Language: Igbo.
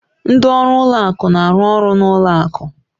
Ndị ọrụ ụlọ akụ na-arụ ọrụ n'ụlọ akụ.